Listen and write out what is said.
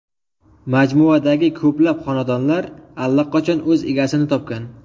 Majmuadagi ko‘plab xonadonlar allaqachon o‘z egasini topgan.